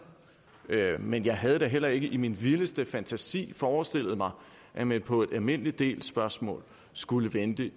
men jeg havde da heller ikke i min vildeste fantasi forestillet mig at man på et almindelig del spørgsmål skulle vente